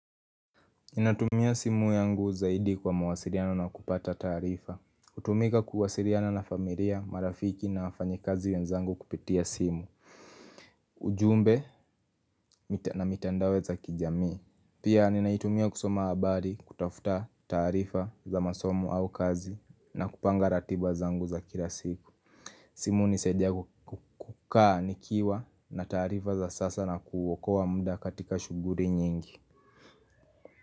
Natumia simu yangu zaidi kwa mawasiliano na kupata tarifa kutumika kuwasiriana na familia, marafiki na wafanyi kazi wenzangu kupitia simu ujumbe na mitandao za kijamii Pia ninaitumia kusoma habari kutafuta tarifa za masomo au kazi na kupanga ratiba zangu za kila siku simu hunisaidia kukukaa nikiwa na tarifa za sasa na kuwokowa mda katika shuguri nyingi.